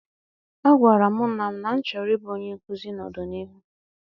A gwara m nna m na-achọro m I bụ onye nkụzi ná-ọdịnihu.